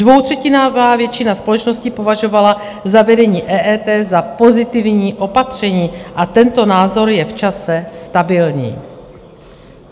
Dvoutřetinová většina společnosti považovala zavedení EET za pozitivní opatření a tento názor je v čase stabilní.